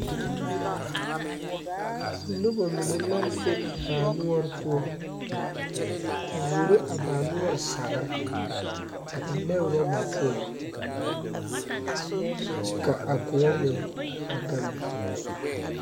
Nobɔ mine la be baa noɔre poɔ a wuoro a baa noɔre sagre a ennɛ rɔba poɔŋ kyɛ ka a kõɔ meŋ a gaŋ be.